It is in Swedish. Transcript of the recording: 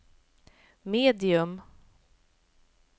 medium